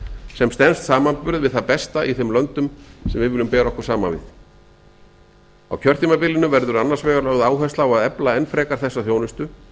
sem stenst samanburð við það besta í þeim löndum sem við viljum bera okkur saman við á kjörtímabilinu verður annars vegar lögð áhersla á að efla enn frekar þessa þjónustu